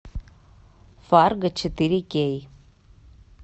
фарго четыре кей